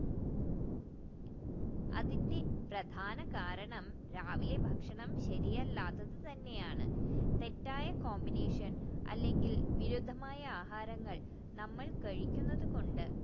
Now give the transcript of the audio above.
അതിന്റെ പ്രധാനകരണഠ രവില്ലേ ഭക്ഷണഠ ശരിയല്ലാത്തത് തന്നെയാണ് തെറ്റായ combination അല്ലെങ്കിൽ ബിരുദമായ ആഹാരങ്ങൾ നമ്മൾ കഴിക്കുന്നത് കൊണ്ട്